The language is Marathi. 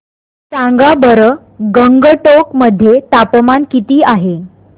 सांगा बरं गंगटोक मध्ये तापमान किती आहे